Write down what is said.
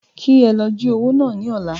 Kí ẹ lọ jí owó náà ní ọ̀la